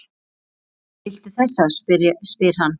Viltu þessa? spyr hann.